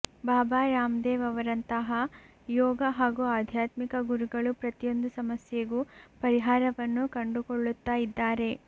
ಬಾಬಾ Ramdev ಅವರಂತಹ ಯೋಗ ಹಾಗೂ ಆಧ್ಯಾತ್ಮಿಕ ಗುರುಗಳು ಪ್ರತಿಯೊಂದು ಸಮಸ್ಯೆಗೂ ಪರಿಹಾರವನ್ನು ಕಂಡುಕೊಳ್ಳುತಾ ಇದ್ದಾರೆ